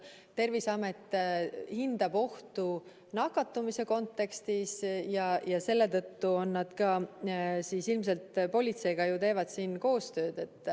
Terviseamet hindab ohtu nakatumise kontekstis ja ilmselt selle tõttu nad teevad ka politseiga koostööd.